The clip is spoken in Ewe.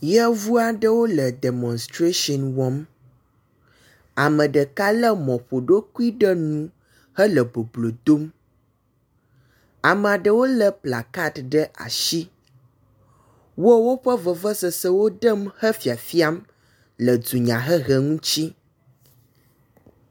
Yevu aɖewo le demɔsitrashini wɔm. Ame ɖeka lé mɔƒoɖokui ɖe nu hele boblo dom. Ame aɖewo lé plakaɖi ɖe asi. Wo woƒe vevesese wo ɖem hefiafiam le dunyahehe ŋuti.